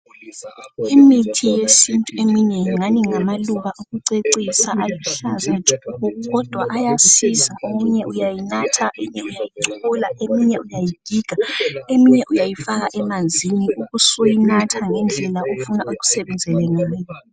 Imithi yesintu eminengi ebukeka engani ngama luba okucecisa kodwa ayasiza eminye uyanatha eminye uyayichola eminye uyagiga eminye uyayifaka emanzini ube usuyinatha ngendlela ofuna ikusebenzele ngayo